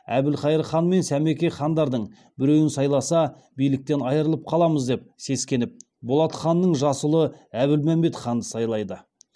әбілқайыр хан мен сәмеке хандардың біреуін сайласа биліктен айырылып қаламыз деп сескеніп болат ханның жас ұлы әбілмәмбет ханды сайлайды